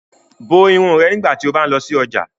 Bo irun rẹ nigbati o ba ń lọ si ọja!